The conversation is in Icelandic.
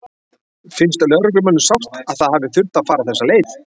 Finnst lögreglumönnum sárt að það hafi þurft að fara þessa leið?